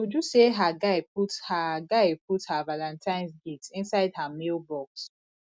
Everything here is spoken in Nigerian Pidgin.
uju say her guy put her guy put her valantines gift inside her mail box